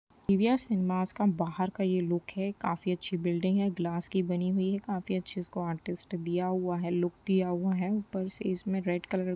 PVR. Cinemas का बाहर का ये लुक है। काफी अच्छी बिल्डिंग है। ग्लास की बनी हुए है। काफी अच्छी इसको आर्टिस्ट दिया हुआ है लुक दिया हुआ है। ऊपर से इस में रेड कलर --